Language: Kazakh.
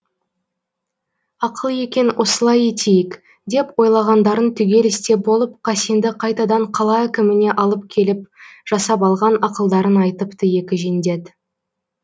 ақыл екен осылай етейік деп ойлағандарын түгел істеп болып қасенді қайтадан қала әкіміне алып келіп жасап алған ақылдарын айтыпты екі жендет